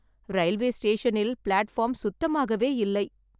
Railway ஸ்டேஷனில் platform சுத்தமாகவே இல்லை.